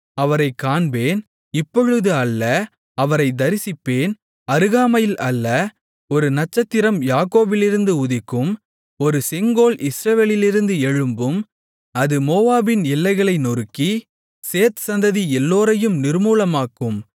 அவரைக் காண்பேன் இப்பொழுது அல்ல அவரைத் தரிசிப்பேன் அருகாமையில் அல்ல ஒரு நட்சத்திரம் யாக்கோபிலிருந்து உதிக்கும் ஒரு செங்கோல் இஸ்ரவேலிலிருந்து எழும்பும் அது மோவாபின் எல்லைகளை நொறுக்கி சேத் சந்ததி எல்லோரையும் நிர்மூலமாக்கும்